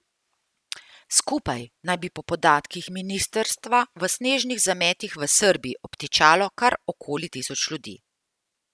Skupaj naj bi po podatkih ministrstva v snežnih zametih v Srbiji obtičalo kar okoli tisoč ljudi.